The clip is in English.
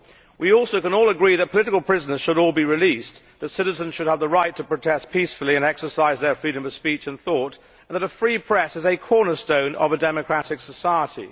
We also can all agree that political prisoners should all be released, that citizens should have the right to protest peacefully and exercise their freedom of speech and thought and that a free press is a cornerstone of a democratic society.